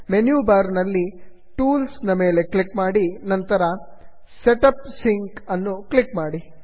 menu bar ನಲ್ಲಿ tools tools ನ ಮೇಲೆ ಕ್ಲಿಕ್ ಮಾಡಿ ನಂತರ set up sync set up sync ಅನ್ನು ಕ್ಲಿಕ್ ಮಾಡಿ